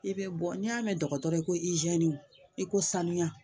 I bɛ bɔ n'i y'a mɛn dɔgɔtɔrɔ i ko izini i ko sanuya